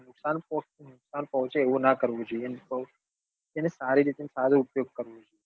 નુકસાન પોચે નુકસાન પહોચે એવું નાં કરવું જોઈએ એને સારી રીતે સારો ઉપયોગ કરવો જોઈએ